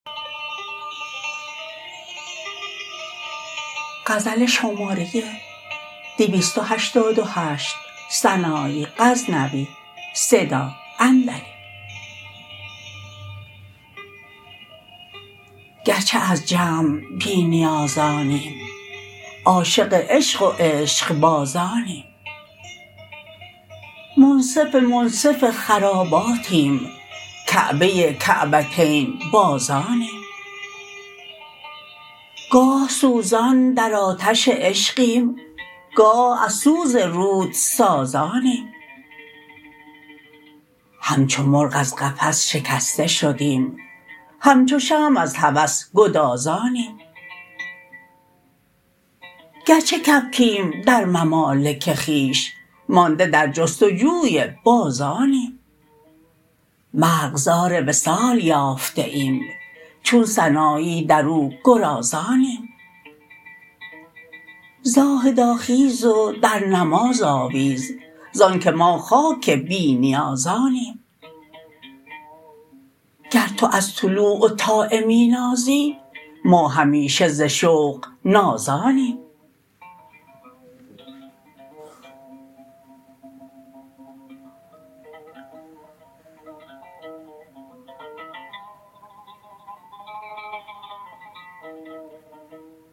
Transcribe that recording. گرچه از جمع بی نیازانیم عاشق عشق و عشقبازانیم منصف منصف خراباتیم کعبه کعبتین بازانیم گاه سوزان در آتش عشقیم گاه از سوز رود سازانیم همچو مرغ از قفس شکسته شدیم همچو شمع از هوس گدازانیم گرچه کبکیم در ممالک خویش مانده در جستجوی بازانیم مرغزار وصال یافته ایم چون سنایی درو گرازانیم زاهدا خیز و در نماز آویز زان که ما خاک بی نیازانیم گر تو از طوع و طاعه می نازی ما همیشه ز شوق نازانیم